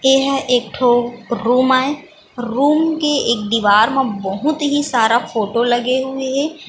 ए हा एक ठो रूम आय रूम के एक दिवार म बहुत ही सारा फोटो लगे हुए हे।